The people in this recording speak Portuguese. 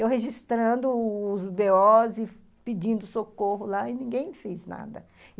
Eu registrando os bê os e pedindo socorro lá e ninguém fez nada.